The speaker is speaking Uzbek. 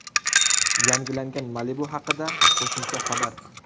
Yangilangan Malibu haqida qo‘shimcha xabar.